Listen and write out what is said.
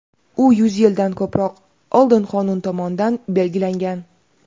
u yuz yildan ko‘proq oldin qonun tomonidan belgilangan.